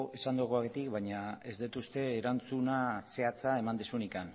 esandakoagatik baina ez dut uste erantzuna zehatza eman duzunik